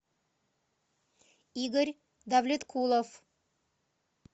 игорь давлеткулов